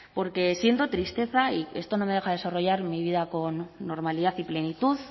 porque siento tristeza y esto no me deja desarrollar mi vida con normalidad y plenitud